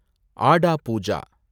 ஆடா பூஜா